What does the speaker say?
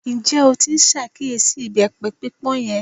Ǹjẹ́ o tí n ṣàkíyèsí ìbẹ́pẹ pípọ́n yẹn?